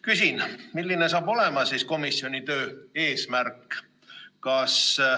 Küsin: milline on siis komisjoni töö eesmärk?